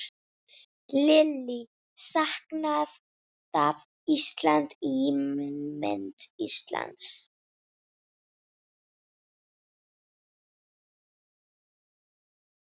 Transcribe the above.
Lillý: Skaðað Ísland, ímynd Íslands?